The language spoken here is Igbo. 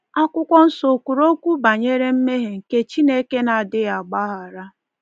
Akwụkwọ Nsọ o kwuru okwu banyere mmehie nke Chineke n'adịghị agbaghara?